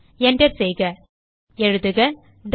Enter செய்க எழுதுகswitch